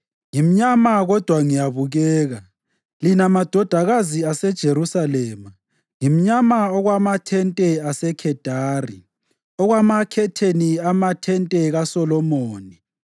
Ngimnyama kodwa ngiyabukeka, lina madodakazi aseJerusalema ngimnyama okwamathente aseKhedari, okwamakhetheni amathente kaSolomoni.